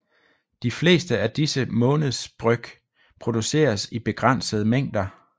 De fleste af disse månedsbryg produceres i begrænsede mængder